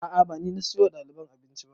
A'a ba ni na siyo wa ɗaliban abinci ba